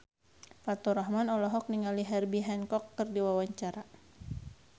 Faturrahman olohok ningali Herbie Hancock keur diwawancara